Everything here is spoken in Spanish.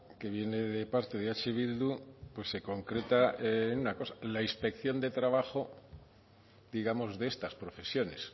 que viene de parte de eh bildu pues se concreta en una cosa la inspección de trabajo digamos de estas profesiones